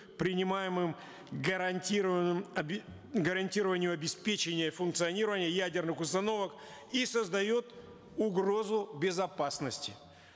принимаемым гарантированным гарантированию обеспечения функционирования ядерных установок и создает угрозу безопасности